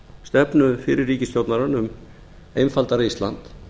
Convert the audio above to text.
stefnu fyrri ríkisstjórnar um einfaldara ísland